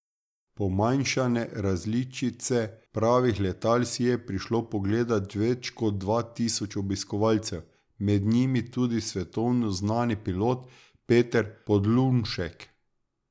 Pomanjšane različice pravih letal si je prišlo pogledat več kot dva tisoč obiskovalcev, med njimi tudi svetovno znani pilot Peter Podlunšek.